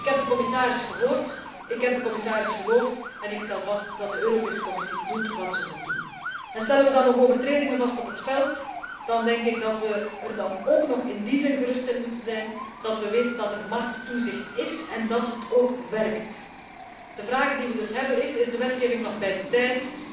Ik heb de commissaris gehoord, ik heb de commissaris geloofd en ik stel vast dat de Europese Commissie doet wat ze moet doen. Stellen we dan nog overtredingen vast op het veld, dan denk ik dat we er dan ook nog in die zin gerust op moeten zijn, dat we weten dat er markttoezicht is en dat dat markttoezicht ook werkt. We hebben dan ook twee vragen is de wetgeving nog bij de tijd